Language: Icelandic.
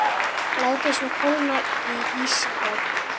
Látið svo kólna í ísskáp.